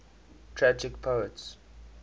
tragic poets